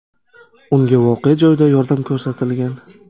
Unga voqea joyida yordam ko‘rsatilgan.